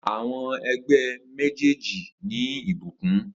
Awọn ẹgbẹ mejeeji ni ibukun